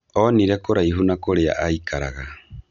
Onire kũraihu na kũrĩa aikaraga.